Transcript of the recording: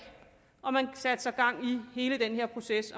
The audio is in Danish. og man satte så gang i hele den her proces